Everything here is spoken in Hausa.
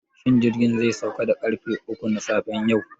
Shin jirgin zai sauka da ƙarfe uku na safe yau?